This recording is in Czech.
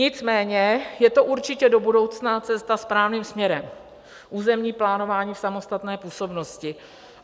Nicméně je to určitě do budoucna cesta správným směrem - územní plánování v samostatné působnosti.